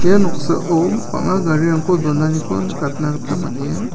ia noksao bang·a garirangko donaniko nikatna gita man·enga.